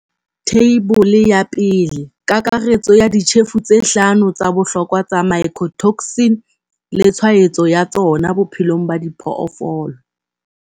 Theibole ya 1. Kakaretso ya ditjhefo tse hlano tsa bohlokwa tsa mycotoxin le tshwaetso ya tsona bophelong ba diphoofolo.